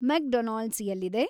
McDonald's ಎಲ್ಲಿದೆ